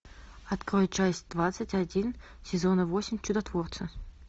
открой часть двадцать один сезона восемь чудотворцы